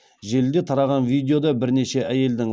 желіде тараған видеода бірнеше әйелдің